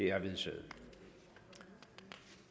at lytte til